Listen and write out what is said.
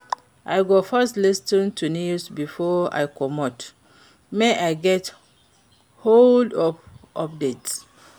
I go first lis ten to news before I comot make I get holdup updates.